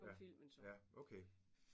Ja ja okay